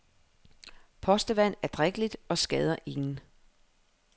Postevand er drikkeligt og skader ingen.